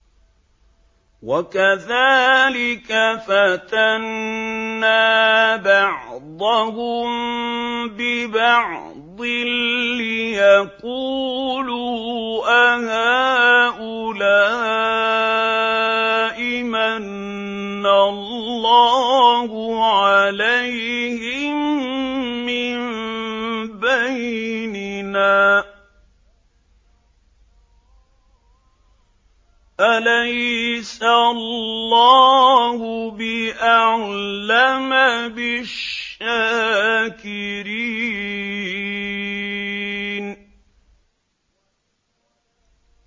وَكَذَٰلِكَ فَتَنَّا بَعْضَهُم بِبَعْضٍ لِّيَقُولُوا أَهَٰؤُلَاءِ مَنَّ اللَّهُ عَلَيْهِم مِّن بَيْنِنَا ۗ أَلَيْسَ اللَّهُ بِأَعْلَمَ بِالشَّاكِرِينَ